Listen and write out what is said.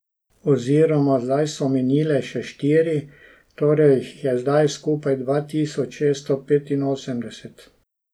Oziroma, zdaj so minile še štiri, torej jih je zdaj skupaj dva tisoč šeststo petinosemdeset.